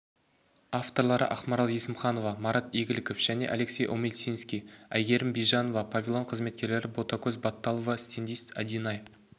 авторлары ақмарал есімханова марат игіліков және алексей омельницкий айгерім бижанова павильон қызметкері ботакөз батталова стендист адинай